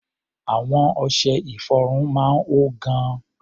Àwọn ọṣẹ-ìfọrun máa ń hó gan.